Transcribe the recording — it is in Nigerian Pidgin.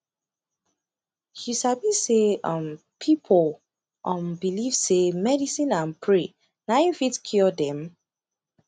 you sabi say um pipu um believe say medicine and pray na em fit cure dem